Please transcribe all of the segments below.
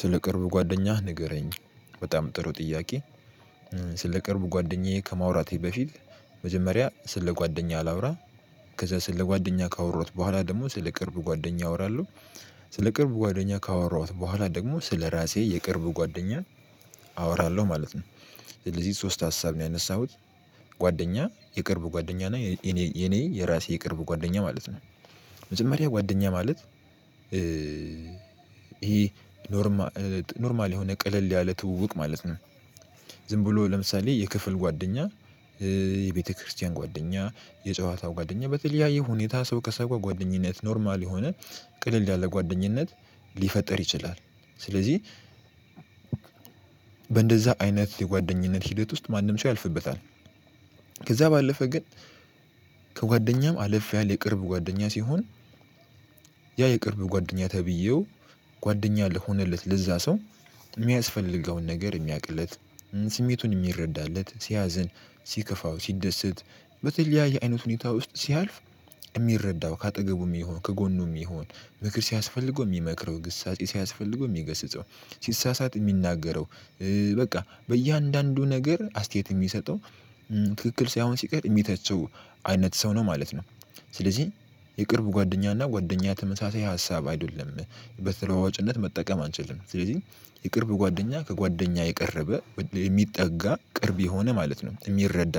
ስለ ቅርብ ጓደኛህ ንገረኝ በጣም ጥሩ ጥያቄ። ስለ ቅርብ ጓደኛዬ ከማውራቴ በፊት መጀመሪያ ስለ ጓደኛ ላውራ። ከዛ ስለ ጓደኛ ካወራሁት በኋላ ደግሞ ስለ ቅርብ ጓደኛ አወራለሁ። ስለ ቅርብ ጓደኛ ካወራሁት በኋላ ደግሞ ስለራሴ የቅርብ ጓደኛ አወራለሁ ማለት ነው። ስለዚህ ሶስት ሀሳብ ነው ያነሳሁት። ጓደኛ የቅርብ ጓደኛ እና የኔ የራሴ የቅርብ ጓደኛ ማለት ነው። መጀመሪያ ጓደኛ ማለት ይሄ ኖርማ ኖርማል የሆነ ቅልል ያለ ትውውቅ ማለት ነው። ዝም ብሎ ለምሳሌ የክፍል ጓደኛ። የቤተክርስቲያን ጓደኛ የጨዋታ ጓደኛ በተለያየ ሁኔታ ሰው ከሰው ጋር ጓደኝነት ኖርማል የሆነ ቅልል ያለጓደኝነት ሊፈጥር ይችላል። ስለዚህ በእንደዛ አይነት የጓደኝነት ሂደት ውስጥ ማንም ሰው ያልፍበታል። ከዛ ባለፈ ግን ከጓደኛም አለፍ ያለ የቅርብ ጓደኛ ሲሆን። ያ የቅርብ ጓደኛ ተብየው ጓደኛ ለሆነለት ለዛ ሰው የሚያስፈልገውን ነገር የሚያውቅለት። ስሜቱን የሚረዳለት ሲያዝን ሲከፋው ሲደሰት በተለያየ አይነት ሁኔታ ውስጥ ሲያልፍ። የሚረዳው ከአጠገቡ የሜሆን ከጎኑ የሚሆን ምክር ሲያስፈልገው የሚመክረው ግሳጼ ሲያስፈልገው የሚገስጸው ሲሳሳት የሚናገረው። በቃ በእያንዳንዱ ነገር አስተያየት የሚሰጠው ትክክል ሳይሆን ሲቀር የሚተቸው አይነት ሰው ነው ማለት ነው። ስለዚህ የቅርብ ጓደኛና ጓደኛ ተመሳሳይ ሀሳብ አይደለም በተለዋዋጭነት መጠቀም አንችልም። ስለዚህ የቅርብ ጓደኛ ከጓደኛ የቀረበ የሚጠጋ ቅርብ የሆነ ማለት ነው የሚረዳ።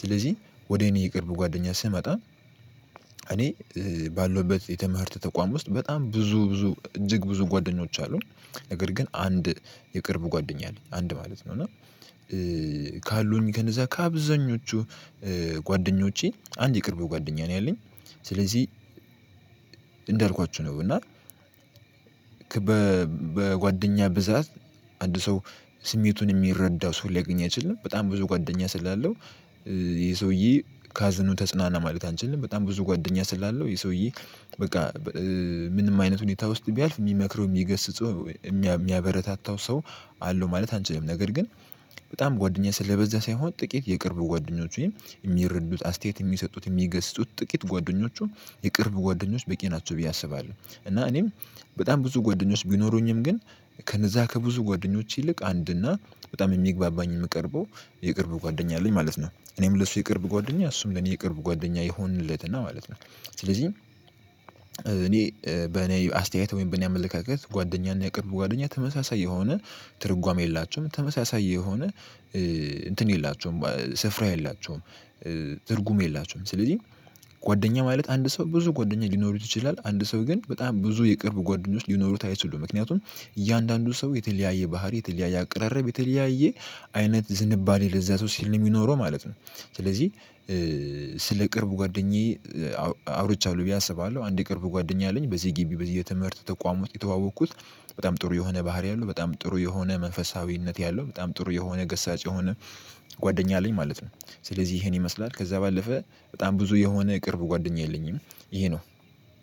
ስለዚህ ወደ እኔ የቅርብ ጓደኛ ስመጣ እኔ ባለሁበት የትምህርት ተቋም ውስጥ በጣም ብዙ ብዙ እጅግ ብዙ ጓደኞች አሉኝ። ነገር ግን አንድ የቅርብ ጓደኛ አለኝ አንድ ማለት ነው። ካሉኝ ከእነዛ ከአብዛኞቹ ጓደኞቼ አንድ የቅርብ ጓደኛ ነው ያለኝ። ስለዚህ እንዳልኳችሁ ነው እና በጓደኛ ብዛት አንድ ሰው ስሜቱን የሚረዳው ሰው ሊያገኝ አይችልም በጣም ብዙ ጓደኛ ስላለው። ይሄ ሰውዬ ከሀዘኑ ተጽናና ማለት አንችልም በጣም ብዙ ጓደኛ ስላለው ይሄ ሰውዬ በቃ ምንም አይነት ሁኔታ ውስጥ ቢያልፍ የሚመክረው የሚገስጸው የሚያበረታታው ሰው አለው ማለት አንችልም። ነገር ግን በጣም ጓደኛ ስለበዛ ሳይሆን ጥቂት የቅርብ ጓደኞች ወይም የሚረዱት ወይም አስተያየት የሚሰጡት የሚገስጹት ጥቂት ጓደኞቹ የቅርብ ጓደኞች በቂ ናቸው ብየ አስባለሁ። እና እኔም በጣም ብዙ ጓደኞች ቢኖሩኝም ግን ከነዛ ከብዙ ጓደኞች ይልቅ አንድና በጣም የሚግባባኝ የምቀርበው የቅርብ ጓደኛ አለኝ ማለት ነው። እኔም ለሱ የቅርብ ጓደኛ እሱም ለኔ የቅርብ ጓደኛ የሆንለትና ማለት ነው። ስለዚህ እኔ በኔ አስተያየት ወይም በኔ አመለካከት ጓደኛና የቅርብ ጓደኛ ተመሳሳይ የሆነ ትርጓሜ የላቸውም ተመሳሳይ የሆነ እንትን የላቸውም ስፍራ የላቸውም ትርጉም የላቸውም። ስለዚህ ጓደኛ ማለት አንድ ሰው ብዙ ጓደኛ ሊኖሩት ይችላል አንድ ሰው ግን በጣም ብዙ የቅርብ ጓደኞች ሊኖሩት አይችሉም። ምክያቱም እያንዳንዱ ሰው የተለያየ ባህሪ የተለያየ አቀራረብ የተለያየ አይነት ዝንባሌ ለዛ ሰው ስለሚኖረው ማለት ነው። ስለዚህ ስለ ቅርብ ጓደኛዬ አውርቻለሁ ብዬ አስባለሁ። አንድ የቅርብ ጓደኛ አለኝ በዚህ ግቢ በየትምህርት ተቋም ውስጥ የተዋወቅኩት በጣም ጥሩ የሆነ ባህሪ አለው በጣም ጥሩ የሆነ መንፈሳዊነት ያለው በጣም ጥሩ የሆነ ገሳጭ የሆነ ጓደኛ አለኝ ማለት ነው። ስለዚህ ይሄን ይመስላል ከዛ ባለፈ በጣም ብዙ የሆነ የቅርብ ጓደኛ የለኝም። ይሄ ነው።